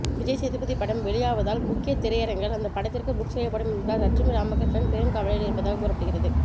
விஜய்சேதுபதி படம் வெளியாவதால் முக்கிய திரையரங்குகள் அந்த படத்திற்கு புக் செய்யப்படும் என்பதால் லட்சுமி ராமகிருஷ்ணன் பெருங்கவலையில் இருப்பதாக கூறப்படுகிறது